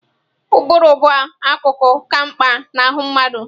Ụbụrụ bụ akụkụ ka mkpa na ahụ mmadụ.